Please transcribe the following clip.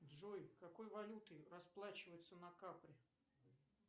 джой какой валютой расплачиваются на капри